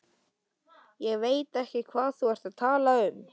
Ég veit ekki hvað þú ert að tala um.